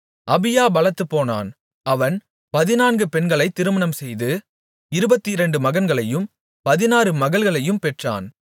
அபியா பலத்துப்போனான் அவன் பதினான்கு பெண்களைத் திருமணம்செய்து இருபத்திரண்டு மகன்களையும் பதினாறு மகள்களையும் பெற்றான்